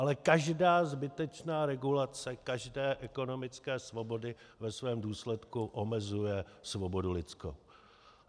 Ale každá zbytečná regulace každé ekonomické svobody ve svém důsledku omezuje svobodu lidskou.